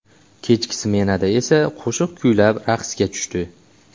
Kechki smenada esa qo‘shiq kuylab, raqsga tushdi.